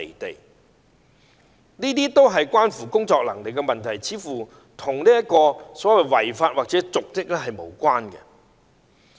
但這是關乎工作能力的問題，似乎與違法或瀆職無關。